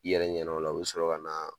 I yɛrɛ ɲɛna o la u bɛ sɔrɔ ka na